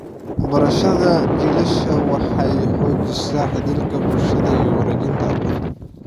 Barashada jiilasha waxay xoojisaa xidhiidhka bulshada iyo wareejinta aqoonta.